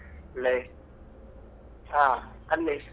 ಹ ಅಲ್ಲಿ .